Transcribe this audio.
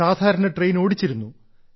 സാധാരണ ട്രെയിൻ ഓടിച്ചിരുന്നു